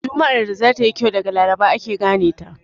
Juma'ar da za ta yi kyau daga laraba ake gane ta.